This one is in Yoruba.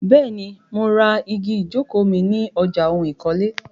Bẹ́ẹ̀ni, mo ra igi ìjókòó mi Ni ọjà oun ìkọ́lé.